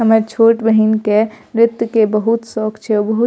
हमर छोट बहिन के नृत्य के बहुत शौक छे बहुत --